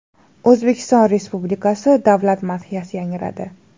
O‘zbekiston Respublikasi Davlat madhiyasi yangradi.